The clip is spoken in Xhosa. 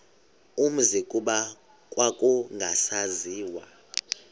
umzi kuba kwakungasaziwa